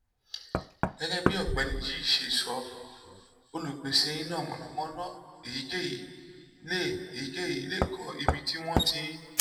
gẹ́gẹ́ bí ọ̀gbẹ́ni yìí ṣe sọ olùpèsè iná mànàmáná èyíkéyìí lè èyíkéyìí lè kọ́ ibi tí wọ́n ti